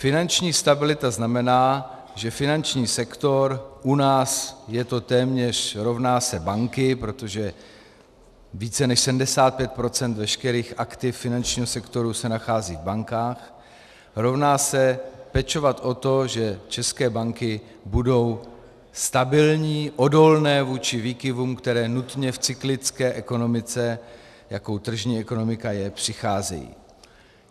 Finanční stabilita znamená, že finanční sektor u nás je to téměř rovná se banky, protože více než 75 % veškerých aktiv finančního sektoru se nachází v bankách, rovná se pečovat o to, že české banky budou stabilní, odolné vůči výkyvům, které nutně v cyklické ekonomice, jakou tržní ekonomika je, přicházejí.